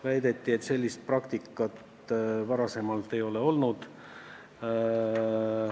Väideti, et sellist praktikat varem ei ole olnud.